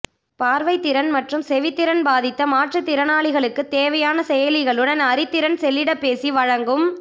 பாா்வைத்திறன் மற்றும் செவித்திறன் பாதித்த மாற்றுத்திறனாளிகளுக்குத் தேவையான செயலிகளுடன் அறிதிறன் செல்லிடப்பேசி வழங்கும்